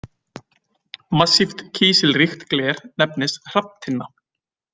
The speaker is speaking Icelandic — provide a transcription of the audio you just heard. Massíft kísilríkt gler nefnist hrafntinna.